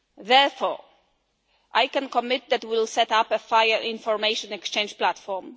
Therefore, I can commit that we will set up a fire information exchange platform.